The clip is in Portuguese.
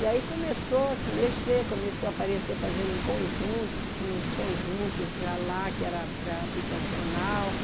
E aí começou a se mexer, começou a aparecer fazerem conjuntos, tinha uns conjuntos já lá, que era para habitacional,